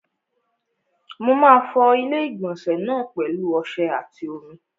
Mo máa fọ ilé-ìgbọ̀nsẹ̀ náà pẹ̀lu ọsẹ àti omi.